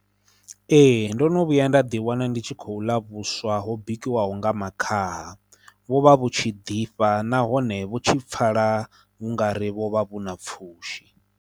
Ee, ndono vhuya nda ḓi wana ndi tshi khou ḽa vhuswa ho bikiwaho nga makhaha, vho vha vho tshi ḓifha nahone vhu tshi pfala hu ngauri vho vha vho na pfushi.